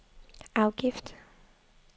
afgift